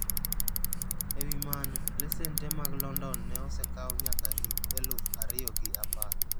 Ewi mano, lesen tee mag London ne osekau nyaka hik eluf ario gi apar.